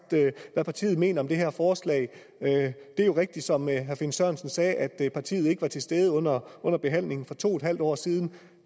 hvad partiet mener om det her forslag det er jo rigtigt som herre finn sørensen sagde at partiet ikke var til stede under behandlingen for to en halv år siden